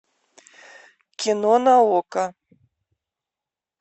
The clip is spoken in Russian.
кино на окко